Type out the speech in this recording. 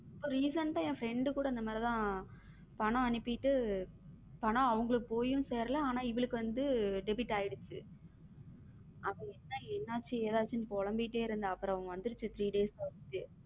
Recent ஆ என் friend கூட இந்த மாதிரி தான் பணம் அனுப்பிட்டு பணம் அவங்களுக்கு போய் சேரல இவளுக்கு வந்து debit ஆகிடுச்சு அவ என்னாச்சு ஏதாச்சும் புலம்பிட்டே இருந்தா அப்புறம் வந்துருச்ச three days ல.